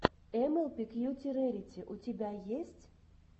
эмэлпи кьюти рэрити у тебя есть